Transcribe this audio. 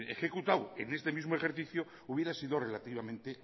ejecutado en este mismo ejercicio hubiera sido relativamente